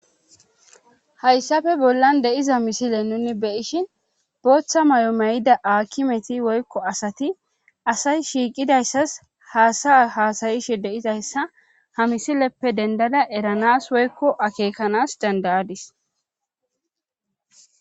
Hayssafe bollan deiza misile nuni beyishin booththa may'o may'ida akimeti woykko asati asay shiiqidayssas haasa haasayishe deizayssa ha misileppe dendada eranas woykko akeekanas dandayadis